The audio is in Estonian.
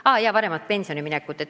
Ah jaa, varasem pensionile minek.